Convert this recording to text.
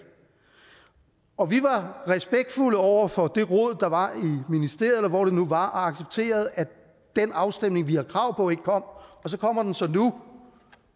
og at vi var respektfulde over for det rod der var i ministeriet eller hvor det nu var og accepterede at den afstemning vi havde krav på ikke kom så kommer den så nu